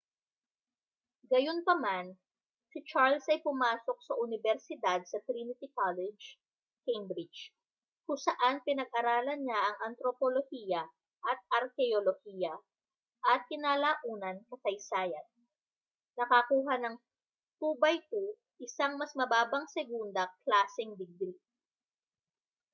gayunpaman si charles ay pumasok sa unibersidad sa trinity college cambridge kung saan pinag-aralan niya ang antropolohiya at arkeolohiya at kinalaunan kasaysayan nakakuha ng 2:2 isang mas mababang segunda-klaseng digri